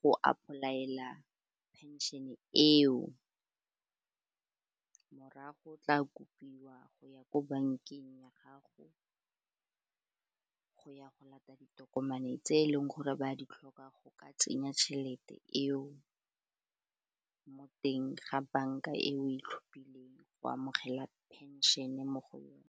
go ipolaela pension-e eo morago tla kopiwa go ya ko bankeng ya gago, go ya go lata ditokomane tse e leng gore ba di tlhoka go ka tsenya tšhelete eo mo teng ga banka e o itlhophileng go amogela penšhene mo go yone.